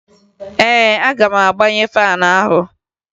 Ee, aga m agbaghe faanụ ahụ